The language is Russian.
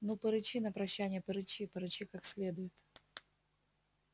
ну порычи на прощанье порычи порычи как следует